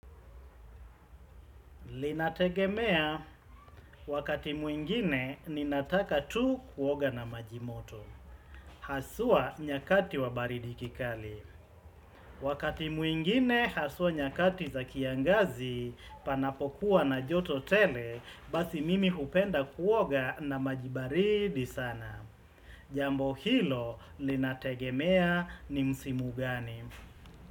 Linategemea wakati mwingine ninataka tu kuoga na maji moto. Haswa nyakati wa baridi kikali. Wakati mwingine haswa nyakati za kiangazi panapokuwa na joto tele basi mimi hupenda kuoga na maji baridi sana. Jambo hilo linategemea ni msimu gani.